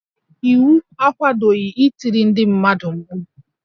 Iwu akwadoghi itiri ndị mmadụ mkpu